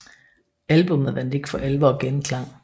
Albummet vandt ikke for alvor genklang